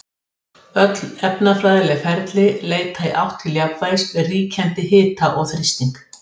Svarið er að það er harla ólíklegt, ef ekki ómögulegt.